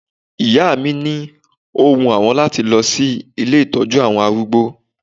Ìyá mi ni ó wun àwọn láti lọ sí ilé ìtọ́jú àwọn arúgbó